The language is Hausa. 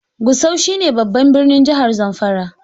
Gusau shi ne babban birnin jihar Zamfara